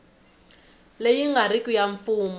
leyi nga riki ya mfumo